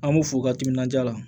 An b'u fo u ka timinandiya la